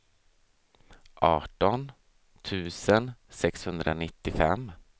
arton tusen sexhundranittiofem